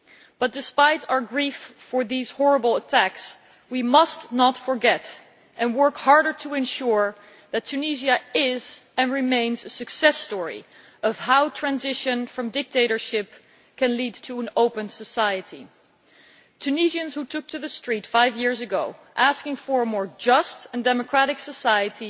But despite our grief at these horrible attacks, we must not forget and work harder to ensure that Tunisia is, and remains, a success story of how transition from dictatorship can lead to an open society. Tunisians who took to the street five years ago, asking for a more just and democratic society,